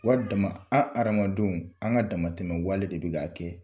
Wari dama, an hadamadenw an ka damatɛmɛ wale de bɛ k'a kɛ